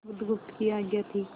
बुधगुप्त की आज्ञा थी